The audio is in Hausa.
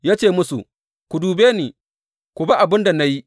Ya ce musu, Ku dube ni, ku bi abin da na yi.